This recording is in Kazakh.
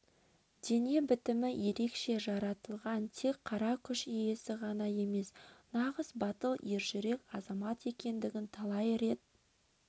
дене бітімі ерекше жаратылған тек қара күш иесі ғана емес нағыз батыл ержүрек азамат екендігін талай рет